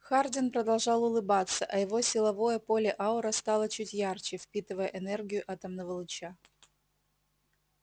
хардин продолжал улыбаться а его силовое поле-аура стало чуть ярче впитывая энергию атомного луча